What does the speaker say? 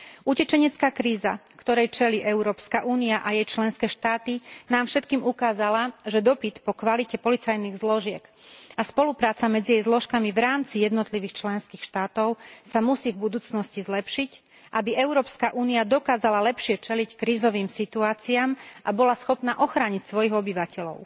Utečenecká kríza, ktorej čelí Európska únia a jej členské štáty, nám všetkým ukázala, že dopyt po kvalite policajných zložiek a spolupráca medzi jej zložkami v rámci jednotlivých členských štátov sa musí v budúcnosti zlepšiť, aby Európska únia dokázala lepšie čeliť krízovým situáciám a bola schopná ochrániť svojich obyvateľov.